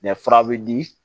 fura bɛ di